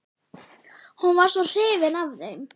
Hún var svo hrifin af þeim.